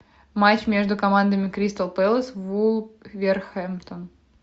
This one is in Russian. матч между командами кристал пэлас вулверхэмптон